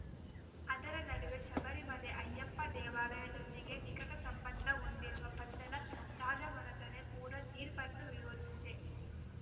ಅದರ ನಡುವೆ ಶಬರಿಮಲೆ ಅಯ್ಯಪ್ಪ ದೇವಾಲಯದೊಂದಿಗೆ ನಿಕಟ ಸಂಬಂಧ ಹೊಂದಿರುವ ಪಂದಳ ರಾಜಮನತ ಕೂಡ ತೀರ್ಪನ್ನು ವಿರೋಧಿಸಿದೆ